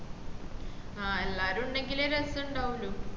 ആഹ് എല്ലാരും ഉണ്ടെങ്കിലേ രസണ്ടാവുള്ളു